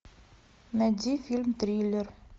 найди фильм триллер